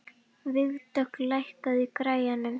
Vígdögg, lækkaðu í græjunum.